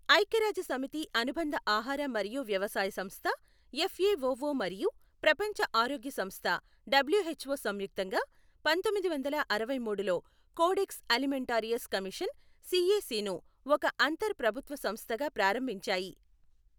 ఐక్యరాజ్య సమితి అనుబంధ ఆహార మరియు వ్యవసాయ సంస్థ ఎఫ్ఎఓఓ మరియు ప్రపంచ ఆరోగ్య సంస్థ డబ్ల్యూహెచ్ఓ సంయుక్తంగా పంతొమ్మిది వందల అరవై మూడులో కోడెక్స్ అలిమెంటారియస్ కమిషన్ సిఎసి ను ఒక అంతర్ ప్రభుత్వ సంస్థగా ప్రారంభించాయి.